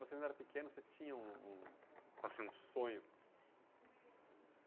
Quando vocês não eram pequenos, vocês tinham, um, assim, um sonho.